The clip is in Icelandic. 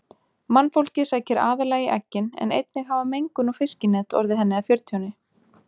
Mannfólkið sækir aðallega í eggin en einnig hafa mengun og fiskinet orðið henni að fjörtjóni.